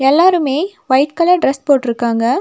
எல்லாருமே white colour dress போட்ருக்காங்க.